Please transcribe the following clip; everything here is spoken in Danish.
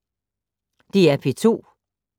DR P2